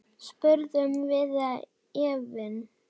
spurðum við efins.